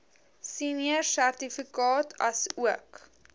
senior sertifikaat asook